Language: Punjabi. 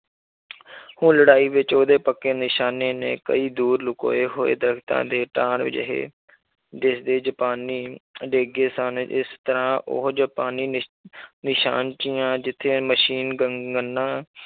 ਉਹ ਲੜਾਈ ਵਿੱਚ ਉਹਦੇ ਪੱਕੇ ਨਿਸ਼ਾਨੇ ਨੇ ਕਈ ਦੂਰ ਲੁਕੋਏ ਹੋਏ ਦਰਦਾਂ ਦੇ ਤਾਰ ਅਜਿਹੇ ਦੇਸ ਦੇ ਜਪਾਨੀ ਡੇਗੇ ਗਏ ਸਨ, ਜਿਸ ਤਰ੍ਹਾਂ ਉਹ ਜਪਾਨੀ ਨਿਸ਼~ ਨਿਸ਼ਾਨਚੀਆਂ ਜਿੱਥੇ ਮਸ਼ੀਨ ਗੰ~ ਗੰਨਾਂ